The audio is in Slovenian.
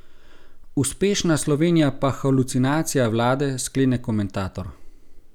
Uspešna Slovenija pa halucinacija vlade, sklene komentator.